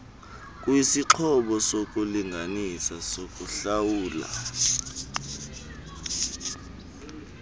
kwisixhobo sokulinganisa sokuhlawula